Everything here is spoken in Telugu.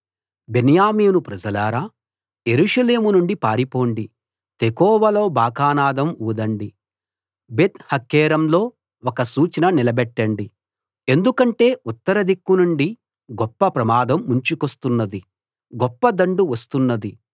బెన్యామీను ప్రజలారా యెరూషలేము నుండి పారిపొండి తెకోవలో బాకానాదం ఊదండి బేత్‌హక్కెరెంలో ఒక సూచన నిలబెట్టండి ఎందుకంటే ఉత్తర దిక్కునుండి గొప్ప ప్రమాదం ముంచుకొస్తున్నది గొప్ప దండు వస్తున్నది